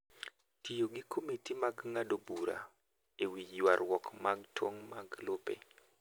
Tiyo gi komiti mag ng’ado bura e wi ywarruok mag tong’ mag lope.